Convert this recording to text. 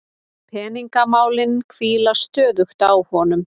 Peningamálin hvíla stöðugt á honum.